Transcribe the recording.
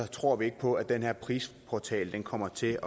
tror ikke på at den her prisportal kommer til